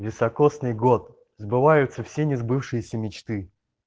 високосный год сбываются все несбывшиеся мечты